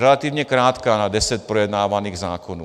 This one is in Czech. Relativně krátká na deset projednávaných zákonů.